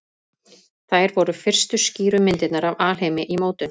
Þær voru fyrstu skýru myndirnar af alheimi í mótun.